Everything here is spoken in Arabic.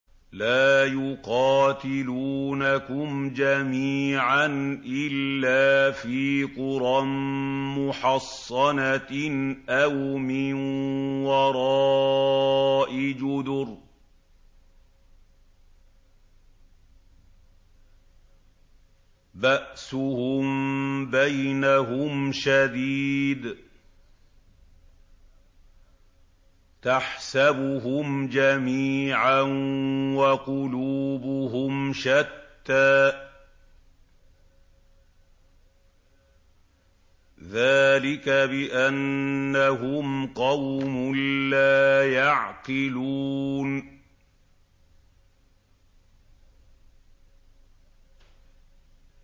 لَا يُقَاتِلُونَكُمْ جَمِيعًا إِلَّا فِي قُرًى مُّحَصَّنَةٍ أَوْ مِن وَرَاءِ جُدُرٍ ۚ بَأْسُهُم بَيْنَهُمْ شَدِيدٌ ۚ تَحْسَبُهُمْ جَمِيعًا وَقُلُوبُهُمْ شَتَّىٰ ۚ ذَٰلِكَ بِأَنَّهُمْ قَوْمٌ لَّا يَعْقِلُونَ